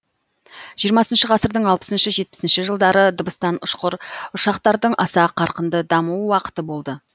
ғасырдың жылдары дыбыстан ұшқыр ұшақтардың аса қарқынды даму уақыты болды